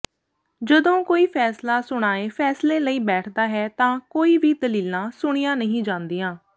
ਜਦੋਂ ਕੋਈ ਫੈਸਲਾ ਸੁਣਾਏ ਫੈਸਲੇ ਲਈ ਬੈਠਦਾ ਹੈ ਤਾਂ ਕੋਈ ਵੀ ਦਲੀਲਾਂ ਸੁਣੀਆਂ ਨਹੀਂ ਜਾਂਦੀਆਂ